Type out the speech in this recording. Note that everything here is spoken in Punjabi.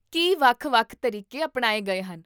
ਕੀ ਵੱਖ ਵੱਖ ਤਰੀਕੇ ਅਪਣਾਏ ਗਏ ਹਨ?